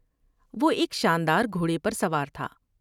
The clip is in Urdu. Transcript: وہ ایک شان دار گھوڑے پر سوار تھا ۔